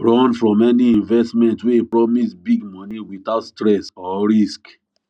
run from any investment offer wey promise big money without stress or risk